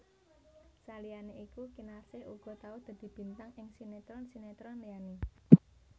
Saliyané iku Kinarsih uga tau dadi bintang ing sinetron sinetron liyané